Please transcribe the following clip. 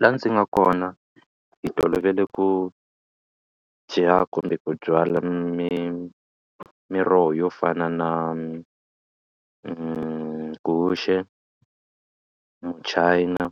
Laha ndzi nga kona hi tolovele ku dya kumbe ku byala miroho yo fana na guxe, muchayina